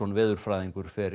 veðurfræðingur fer